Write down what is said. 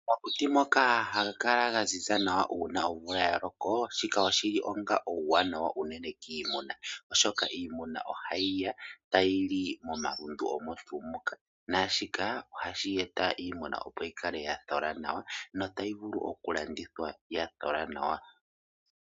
Omakuti moka haga kala ga ziza nawa uuna omvula ya loko, shika oshi li onga uuwanawa unene kiimuna oshoka iimuna ohayi ya tayi li momalundu omo tuu moka naashika ohashi eta iimuna opo yi kale ya thola nawa notayi vulu okulandithwa ya thola nawa.